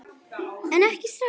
En ekki strax.